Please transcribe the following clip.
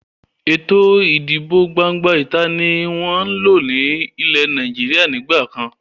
Ètò ìdìbò gbangba ìta ni wọn ń lò ní ilẹ́ Nàìjíríà ni ìgbàkan.